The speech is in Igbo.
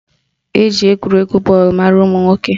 Eji egwuregwu bọọlụ mara ụmụnwoke